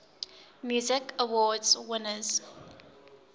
music awards winners